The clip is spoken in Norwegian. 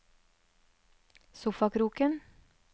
sofakroken